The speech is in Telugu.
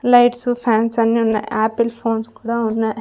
లైట్సు ఫ్యాన్స్ అన్నీ ఉన్నాయి ఆపిల్ ఫోన్స్ కూడా ఉన్నాయ్.